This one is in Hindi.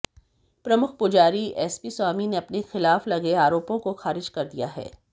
प्रमुख पुजारी एस पी स्वामी ने अपने खिलाफ लगे आरोपों को खारिज कर दिया है